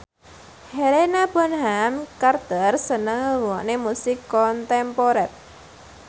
Helena Bonham Carter seneng ngrungokne musik kontemporer